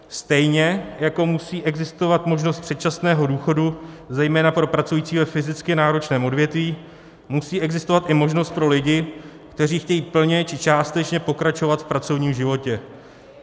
Stejně jako musí existovat možnost předčasného důchodu zejména pro pracující ve fyzicky náročném odvětví, musí existovat i možnost pro lidi, kteří chtějí plně či částečně pokračovat v pracovním životě.